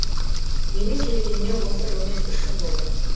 менің келгеніме осы жылмен үш жыл болды